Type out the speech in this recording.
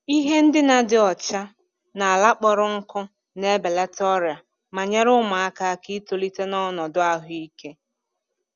Ihe ndina dị ọcha na ala kpọrọ nkụ na-ebelata ọrịa ma nyere ụmụaka aka itolite n’ọnọdụ ahụike.